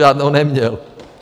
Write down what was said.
Žádnou neměl.